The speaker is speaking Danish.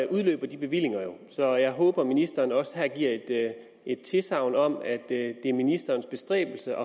udløber de bevillinger jo så jeg håber ministeren også her giver et tilsagn om at det er ministerens bestræbelse